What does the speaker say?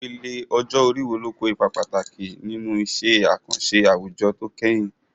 Ìpele ọjọ́ orí wo ló kó ipa pàtàkì nínú iṣẹ́ àkànṣe àwùjọ tó kẹ́yìn?